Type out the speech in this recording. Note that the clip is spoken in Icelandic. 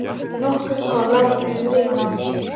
Nokkur korn láku út um rifuna.